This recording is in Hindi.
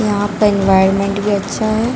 यहाँ पर एन्वॉयरन्मेंट भी अच्छा हैं।